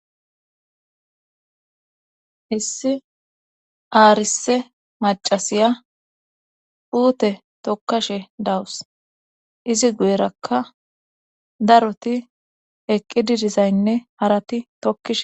issi aarsse macasiya puute tokkashe dawus izi guyerakka daroti eqqidi dizaynne harati tokkishe.